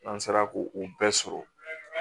An sera ko o bɛɛ sɔrɔ